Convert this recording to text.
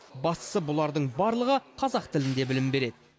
бастысы бұлардың барлығы қазақ тілінде білім береді